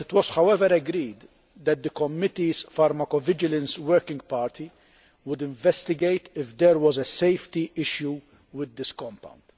However, it was agreed that the committee's pharmacovigilance working party would investigate if there was a safety issue with this compound.